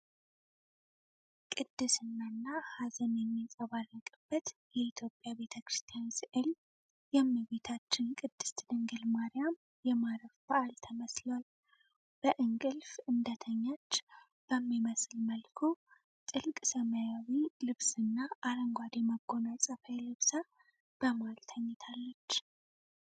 ቅድስናና ሀዘን የሚንጸባረቅበት የኢትዮጵያ ቤተ ክርስቲያን ሥዕል። የእመቤታችን ቅድስት ድንግል ማርያም የማረፍ በዓል ተመስሏል። በእንቅልፍ እንደተኛች በሚመስል መልኩ፣ ጥልቅ ሰማያዊ ልብስና አረንጓዴ መጎናጸፊያ ለብሳ በመሃል ተኝታለች።